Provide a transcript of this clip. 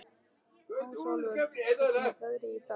Ásólfur, hvernig er veðrið í dag?